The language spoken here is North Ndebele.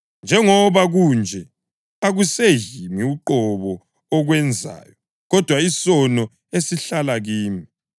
Njengoba kunje, akuseyimi uqobo okwenzayo, kodwa isono esihlala kimi.